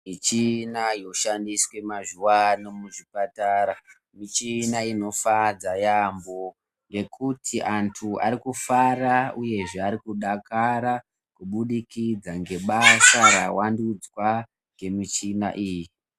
Muchina yoshandiswe mazuwano muzvipatara muchina inofadza yamhoo ngekuti antu vari kufara uyezve ari kudakara kubudikidza ngebasa rawandudzwa ngemuchina iyi.